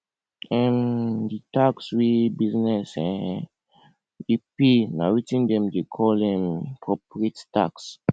um di tax wey business um dey pay na wetin dem dey call um corporate tax